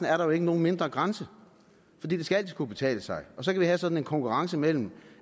er der jo ikke nogen nedre grænse for det skal altid kunne betale sig og så kan vi have sådan en konkurrence mellem